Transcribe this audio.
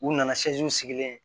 U nana sigilen ye